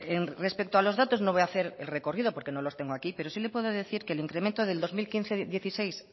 respecto a los datos no voy a hacer el recorrido porque no los tengo aquí pero sí le puedo decir que el incremento del dos mil quince dos mil dieciséis